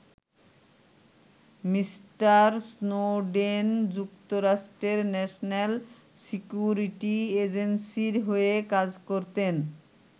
Mister Snowden যুক্তরাষ্ট্রের national security এজেন্সীর হয়ে কাজ করতেন।